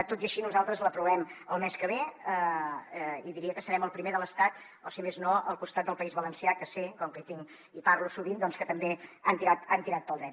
tot i així nosaltres l’aprovem el mes que ve i diria que serem el primer de l’estat o si més no al costat del país valencià que sé com que hi parlo sovint que també han tirat pel dret